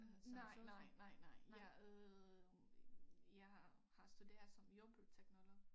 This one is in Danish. Nej nej nej nej jeg øh jeg har har studeret som jordbrugsteknolog